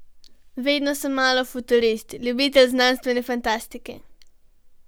Vedno sem malo futurist, ljubitelj znanstvene fantastike.